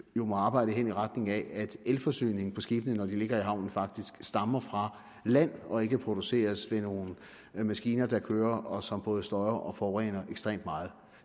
jo må arbejde hen i retning af at elforsyningen på skibene når de ligger i havnene faktisk stammer fra land og ikke produceres via nogle maskiner der kører og som både støjer og forurener ekstremt meget